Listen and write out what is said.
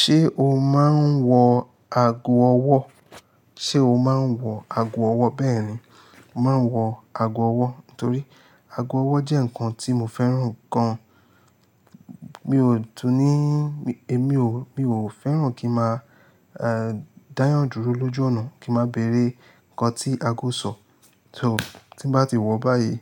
Ṣé o máa ń wọ ago ọwọ́? Ṣé o máa ń wọ ago ọwọ́? Bẹ́ẹ̀ni, màá wọ ago ọwọ́, nítorí ago ọwọ́ jẹ́ nǹkan tí mo fẹ́ràn gan. Mi ò tún ní, èmi ò, mi ò fẹ́ràn kí mà a dáyàn dúró lójú ọ̀nà kí màá bẹ̀rẹ̀ ǹkan tí ago ń sọ. So tí bá ti wọ̀ báyìí,